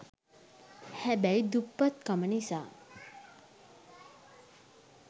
හැබැයි දුප්පත් කම නිසා